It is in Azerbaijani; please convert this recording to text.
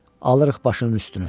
Alırıq başının üstünü.